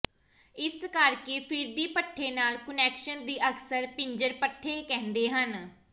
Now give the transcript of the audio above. ਇਸ ਕਰਕੇ ਫਿਰਦੀ ਪੱਠੇ ਨਾਲ ਕੁਨੈਕਸ਼ਨ ਦੀ ਅਕਸਰ ਪਿੰਜਰ ਪੱਠੇ ਕਹਿੰਦੇ ਹਨ